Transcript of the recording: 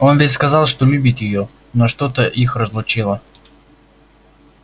он ведь сказал что любит её но что-то их разлучило